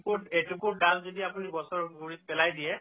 এচুকুট এচুকুট ডাল যদি আপুনি গছৰ গুৰিত পেলাই দিয়ে